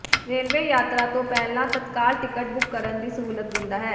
railway ਯਾਤਰਾ ਤੋਂ ਪਹਿਲਾਂ ਤੱਤਕਾਲ ਟਿਕਟ ਬੁੱਕ ਕਰਨ ਦੀ ਸਹੂਲਤ ਦਿੰਦਾ ਹੈ